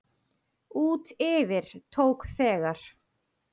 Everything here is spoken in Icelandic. Út yfir tók þegar